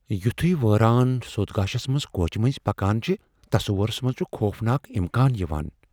یُتھوے ویران سوٚت گاشس منز کوچہ منزۍ پكان چھِ ، تصورس منز چھِ خوفناك اِمكان یوان ۔